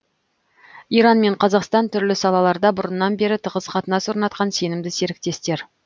иран мен қазақстан түрлі салаларда бұрыннан бері тығыз қатынас орнатқан сенімді серіктестер